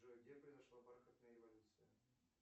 джой где произошла бархатная революция